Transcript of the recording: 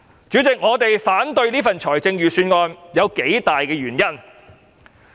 主席，我反對此份預算案，原因有數點。